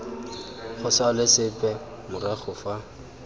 go salwe sepe morago fa